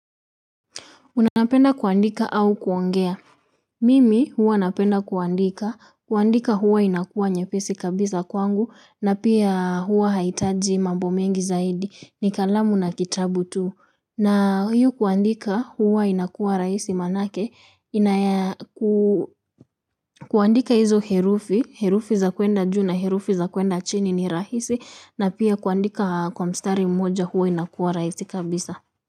Unapenda kuandika au kuongea. Mimi huwa napenda kuandika, kuandika huwa inakuwa nyepesi kabisa kwangu, na pia huwa haihitaji mambo mengi zaidi, ni kalamu na kitabu tu. Na huyu kuandika huwa inakuwa raisi manake, kuandika hizo herufi, herufi za kuenda juu na, herufi za kuenda chini ni rahisi, na pia kuandika kwa mstari mmoja huwa inakuwa rahisi kabisa.